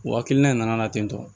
O hakilina in nana ten tɔ